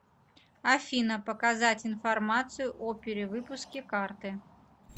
афина показать информацию о перевыпуске карты